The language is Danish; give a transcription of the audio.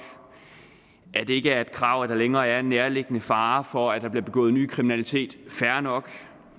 at det ikke er et krav at der længere er en nærliggende fare for at der bliver begået ny kriminalitet fair nok